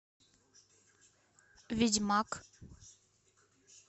ведьмак